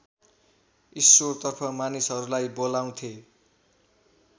ईश्वरतर्फ मानिसहरूलाई बोलाउँथे